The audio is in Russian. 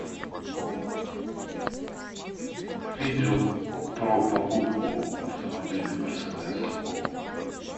видео про покупку автомобиля мерседес